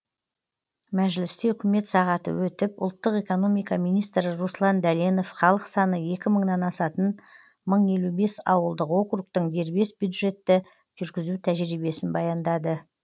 мәжілісте үкімет сағаты өтіп ұлттық экономика министрі руслан дәленов халық саны екі мыңнан асатын мың елу бес ауылдық округтің дербес бюджетті жүргізу тәжірибесін баяндады